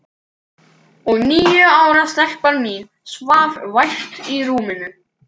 Og níu ára stelpan mín svaf vært í rúminu.